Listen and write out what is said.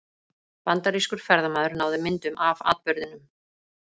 Bandarískur ferðamaður náði myndum af atburðinum